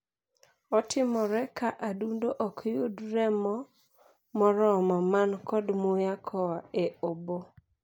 Otimore ka adundo ok yud remo moromo man kod muya koa e oboo.